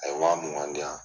A ye wa mugan di yan.